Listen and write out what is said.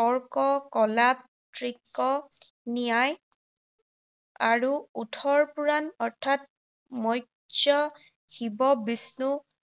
তৰ্ক, কলাপ, তৃক, ন্যায় আৰু ওঠৰ পুৰাণ অৰ্থাৎ মৎস্য, শিৱ, বিষ্ণু